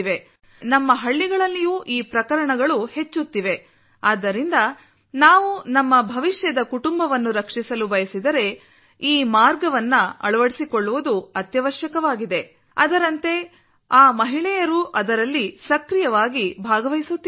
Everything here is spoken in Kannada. ಆದರೆ ನಮ್ಮ ಹಳ್ಳಿಗಳಲ್ಲಿಯೂ ಈ ಪ್ರಕರಣಗಳು ಹೆಚ್ಚುತ್ತಿವೆ ಆದ್ದರಿಂದ ನಾವು ನಮ್ಮ ಭವಿಷ್ಯದ ಕುಟುಂಬವನ್ನು ರಕ್ಷಿಸಲು ಬಯಸಿದರೆ ಈ ಮಾರ್ಗವನ್ನು ಅಳವಡಿಸಿಕೊಳ್ಳುವುದು ಅವಶ್ಯಕವಾಗಿದೆ ಅದರಂತೆ ಆ ಮಹಿಳೆಯರೂ ಅದರಲ್ಲಿ ಸಕ್ರಿಯವಾಗಿ ಭಾಗವಹಿಸುತ್ತಿದ್ದಾರೆ